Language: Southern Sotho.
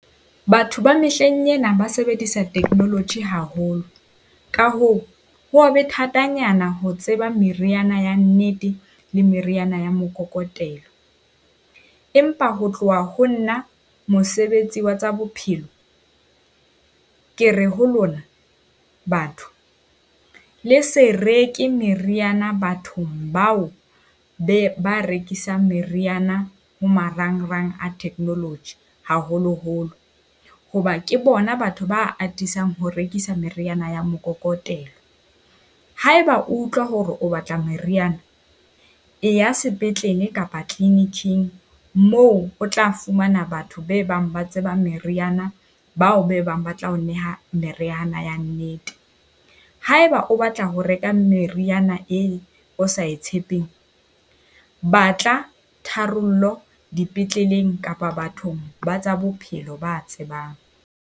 Batho ba mehleng ena ba sebedisa technology haholo, ka hoo ho wa be thatanyana ho tseba meriana ya nnete le meriana ya mokokotelo. Empa ho tloha ho nna mosebetsi wa tsa bophelo ke re ho lona batho, le se reke meriana bathong bao be ba rekisang meriana ho marangrang a technology haholoholo. Hoba ke bona batho ba atisang ho rekisa meriana ya mokokotelo. Haeba o utlwa hore o batla meriana, e ya sepetlele kapa clinic-ng moo o tla fumana batho be bang ba tseba meriana bao be bang ba tla ho neha meriana ya nnete. Haeba o batla ho reka meriana eo o sa e tshepeng. Ba tla tharollo dipetleleng kapa bathong ba tsa bophelo ba tsebang.